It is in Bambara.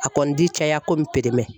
A kɔni ti caya komi